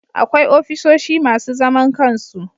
Akwai ofisoshi masu zaman kansu